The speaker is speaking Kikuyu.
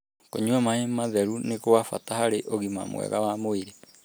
Kũnyua maĩ matheru nĩ kwa bata harĩ ũgima mwega wa mwĩrĩ.